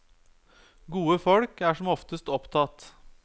Gode folk er som oftest opptatt.